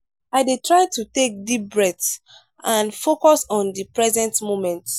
i dey try to take deep breaths and focus on di present moment.